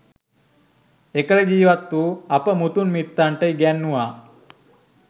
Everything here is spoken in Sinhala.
එකල ජීවත් වූ අප මුතුන් මිත්තන්ට ඉගැන්නුවා